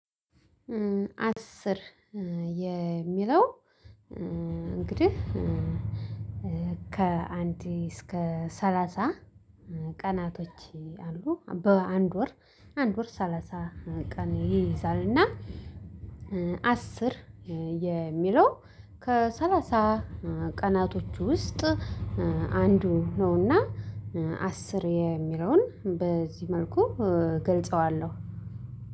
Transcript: አስር የሚለው እንግዲህ ከአንድ እስከ ሰላሳ ቀናቶች አሉ በአንድ ወር አንድ ወር ሰላሳ ቀን ይይዛል። እና አሰር የሚለው ከሰላሳ ቀናቶች ውስጥ አንዱ ነውና። አስር የሚለውን በዚህ መልኩ ገልጸዋለሁ።